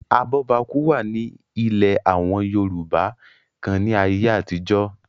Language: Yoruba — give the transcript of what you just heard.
abọ́bakú wà ní àwọn ilẹ̀ yorùbá kan ní ayé àtijọ́